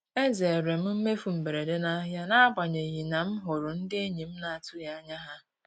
E zeere m mmefu mberede n'ahịa n'agbanyeghị na m hụrụ ndị enyi m na-atụghị anya ha.